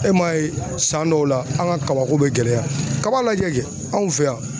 E m'a ye san dɔw la an ka kabako bɛ gɛlɛya kaba lajɛ kɛ anw fɛ yan